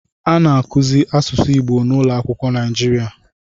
A na-akụzi asụsụ Igbo n'ụlọakwụkwọ Naịjirịa